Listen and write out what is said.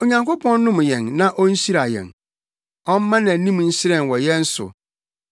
Onyankopɔn nnom yɛn na onhyira yɛn ɔmma nʼanim nhyerɛn wɔ yɛn so,